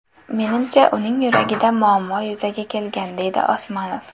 Menimcha, uning yuragida muammo yuzaga kelgan”, deydi Osmanov.